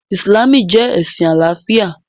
Ìsìlámù jẹ́ ẹ̀sìn àlàáfíà